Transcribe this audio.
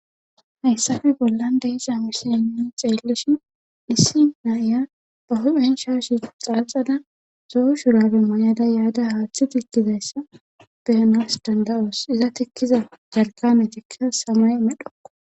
hayssafe bollan de isa misilinni xeellishin issi naa7iya ba hu7hen shaashi xaaxada zo7o shurabe may7ada yaada haaththi tikkizayssa beyanas danda7oos iza tikkiza jarkame tikkiza samay medhokko